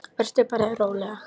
Vertu bara róleg.